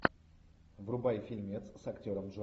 врубай фильмец с актером